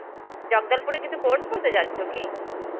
জগদল্পুরে কিছু course করতে যাচ্ছ কি?